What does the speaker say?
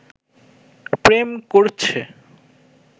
প্রেম করছে